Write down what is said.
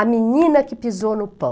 A Menina que Pisou no Pão.